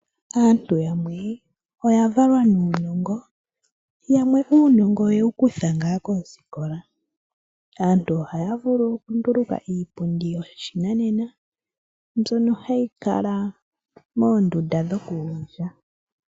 Aantu yamwe oya valwa nuunongo. Yamwe uunongo oye wu kutha ngaa koosikola. Aantu ohaya vulu oku nduluka iipundi yoshinanena mbyono hayi kala moondunda dhoku gondja.